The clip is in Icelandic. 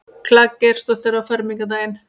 Klara Geirsdóttir á fermingardaginn.